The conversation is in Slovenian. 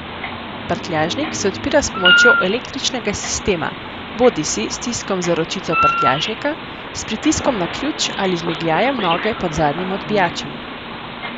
Prtljažnik se odpira s pomočjo električnega sistema, bodisi s stiskom za ročico prtljažnika, s pritiskom na ključ ali z migljajem nove pod zadnjim odbijačem.